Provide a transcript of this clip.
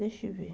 Deixa eu ver.